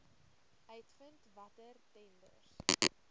uitvind watter tenders